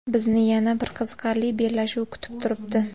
Bizni yana bir qiziqarli bellashuv kutib turibdi.